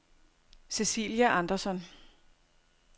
Cecilia Anderson